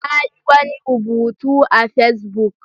Ta yi wani rubutu a Facebook.